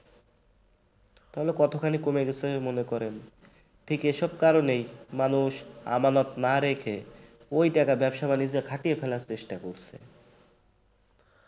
তাহলে কতখানি কমে গেছে মনে করেন ঠিক এসব কারণেই মানুষ আমানত না রেখে ওই টাকা ব্যবসা-বাণিজ্যে খাটিয়ে ফেলার চেষ্টা করছে।